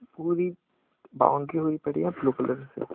पूरी बाउंड्री हुई पड़ी है ब्लू कलर से--